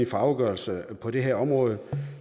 for afgørelser på det her område